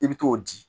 I bɛ t'o di